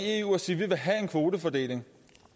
eu og sige vi vil have en kvotefordeling